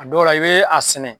A dɔw la i bee a sɛnɛ